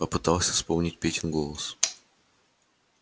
попытался вспомнить петин голос